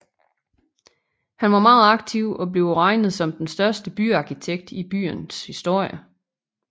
Han var meget aktiv og bliver regnet som den største byarkitekt i byens historie